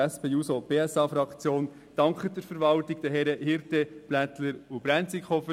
Die SP-JUSO-PSA-Fraktion dankt der Verwaltung und den Herren Hirte, Blättler und Brenzikofer.